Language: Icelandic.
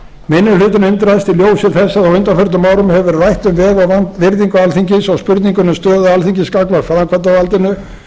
minni hlutinn undrast í ljósi þess að á undanförnum árum hefur verið rætt um veg og virðingu alþingis og spurninguna um stöðu alþingis gagnvart framkvæmdarvaldinu